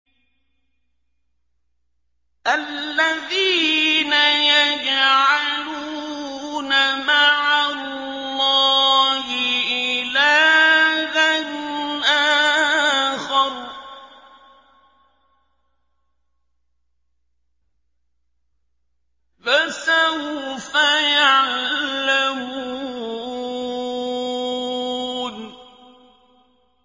الَّذِينَ يَجْعَلُونَ مَعَ اللَّهِ إِلَٰهًا آخَرَ ۚ فَسَوْفَ يَعْلَمُونَ